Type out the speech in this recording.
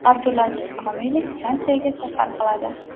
Abdulaziz Komilov Fransiyaga safar qiladi.